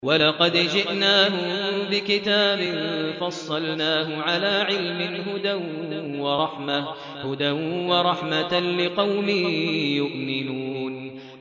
وَلَقَدْ جِئْنَاهُم بِكِتَابٍ فَصَّلْنَاهُ عَلَىٰ عِلْمٍ هُدًى وَرَحْمَةً لِّقَوْمٍ يُؤْمِنُونَ